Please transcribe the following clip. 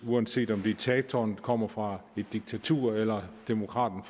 uanset om diktatoren kommer fra et diktatur eller demokraten